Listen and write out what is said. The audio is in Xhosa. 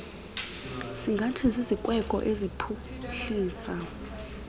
singathi zizikweko eziphuhlisa